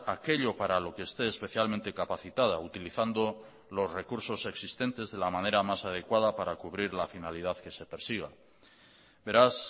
aquello para lo que esté especialmente capacitada utilizando los recursos existentes de la manera más adecuada para cubrir la finalidad que se persiga beraz